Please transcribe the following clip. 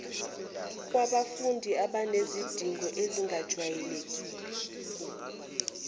kwabafundi abanezidingo ezingajwayelekile